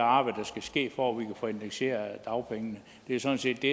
arbejde der skal ske for at vi kan få indekseret dagpengene det er sådan set det